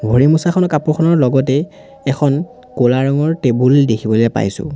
ভৰি মচাখনৰ কাপোৰখনৰ লগতেই এখন ক'লা ৰঙৰ টেবুল এ দেখিবলে পাইছোঁ।